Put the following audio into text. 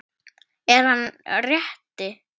Er hann sá rétti?